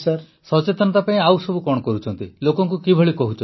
ସଚେତନତା ପାଇଁ ଆଉ କଣ ସବୁ କରୁଛନ୍ତି ଲୋକଙ୍କୁ କିଭଳି କହୁଛନ୍ତି